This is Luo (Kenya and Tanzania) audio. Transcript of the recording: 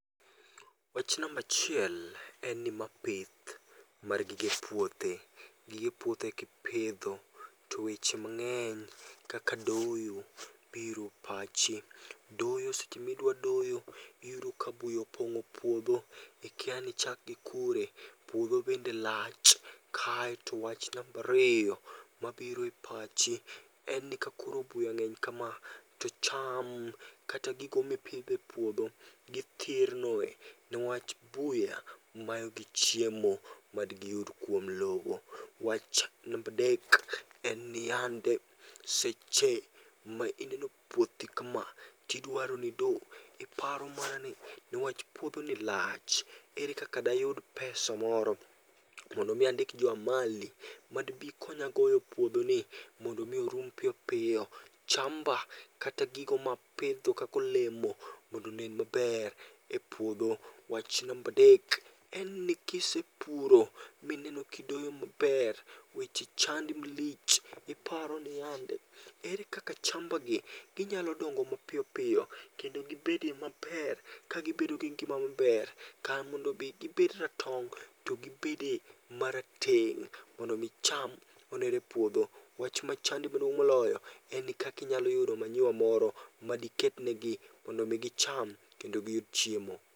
Wach namba achiel en ni ma pith mar gige puothe. Gige puothe kipidho, to weche mang'eny kaka doyo biro pachi. Doyo seche midwa doyo iyudo ka buya opong'o puodho, ikia ni ichak gi kure, puodho bende lach. Kae to wach namba ariyo, mabiro e pachi, en ni kakaro buya ng'eny kama, to cham kata gigo mipidho e puodho, githirno niwach buya mayogi chiemo madigi yud kuom lowo. Wach namba adek en niyande, seche ma ineno puothi kama tidwaro nido, iparo manani, newach puodhoni lach, ere kaka dayud pesa moro mondo mi andik jo amali madbi konya goyo puodhoni, mondo mi orum piyo piyo chamba kata gigo mapidho kaka olemo mondo onen maber e puodho. Wach namba adek enni kisepuro mineno kidoyo maber, weche chandi malich, iparo niyandi, ere kaka chambagi ginyalo dongo mapiyo piyo, kendo gibedie maber ka gibedo gi ngima maber, kar mondo mi gibed ratong' to gibede marateng', mondo mi cham onere e puodho. Wach machandi maduong' moloyo en ni kaka inyalo yudo manure moro madiketnegi mondo mi gicham kendo giyud chiemo.